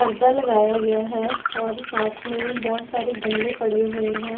परदा लगाया गया है और साथ में बहोत सारे गमले पड़े हुए हैं।